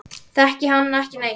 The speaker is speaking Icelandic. Þekki hann ekki neitt.